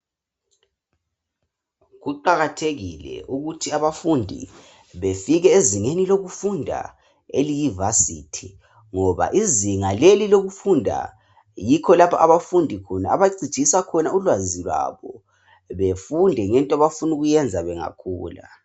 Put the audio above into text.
Kuqakathekile ukuthi abafundi befike ezingeni lokufunda eliyiVarsity ngoba izinga leli lokufunda yikho lapho abafundi khona abacijisa khona ulwazi lwabo befunde ngento abafuna ukuyenza bengakhula.